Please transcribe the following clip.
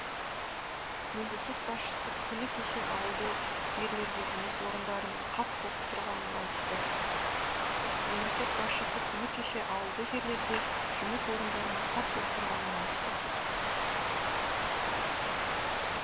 мемлекет басшысы күні кеше ауылды жерлерде жұмыс орындарының қат боп тұрғанын айтты мемлекет басшысы күні кеше ауылды жерлерде жұмыс орындарының қат боп тұрғанын айтты